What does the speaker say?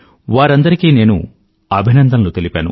వారందరికీ నేను అభినందనలు తెలిపాను